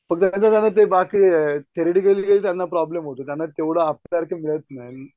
ते बाकी थेरडी गेली की त्यांना प्रॉब्लेम होतो त्यांना तेवढं आपल्यासारखी मिळत नाहीत.